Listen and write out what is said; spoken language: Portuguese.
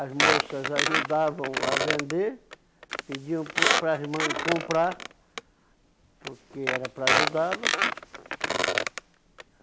As moças ajudavam a vender, pediam por para as mães comprar, porque era para ajudá-lo.